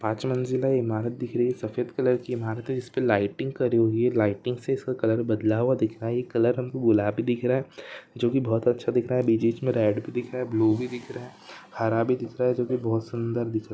पांच मंज़िला इमारत दिख रही है सफ़ेद कलर की इमारत है जिसपे लाइटिंग करि हुई हैलाइटिंग से इसका कलर बदला हुआ दिख रहा है ये कलर हमको गुलाबी दिख रहा है जो की बहुत अच्छा दिख रहा है बीच- बीच में रेड भी दिख रहा है ब्लू भी दिख रहा है हरा भी दिख रहा है जो की बहुत सुन्दर दिख रहा है।